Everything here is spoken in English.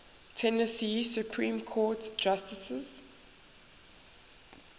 tennessee supreme court justices